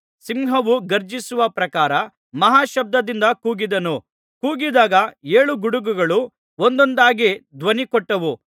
ಸಿಂಹವು ಘರ್ಜಿಸುವ ಪ್ರಕಾರ ಮಹಾಶಬ್ದದಿಂದ ಕೂಗಿದನು ಕೂಗಿದಾಗ ಏಳು ಗುಡುಗುಗಳು ಒಂದೊಂದಾಗಿ ಧ್ವನಿಕೊಟ್ಟವು